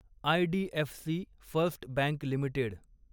IDFC First Bank limited